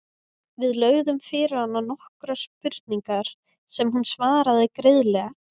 Við lögðum fyrir hana nokkrar spurningar sem hún svaraði greiðlega.